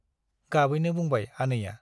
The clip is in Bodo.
गाबैनो बुंबाय आनैया ।